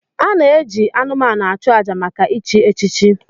A na-eji anụmanụ achụ àjà maka ichi echichi.